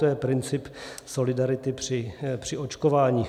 To je princip solidarity při očkování.